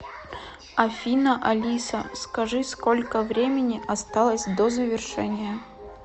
афина алиса скажи сколько времени осталось до завершения